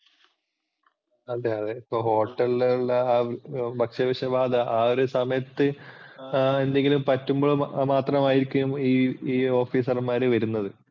അതെ അതെ ഇപ്പോൾ hotel ലുള്ള ഭക്ഷ്യവിഷബാധ ആ ഒരു സമയത്തു എന്തെങ്കിലും പറ്റുമ്പോൾ മാത്രമായിരിക്കും ഈ officer മാര് വരുന്നത്.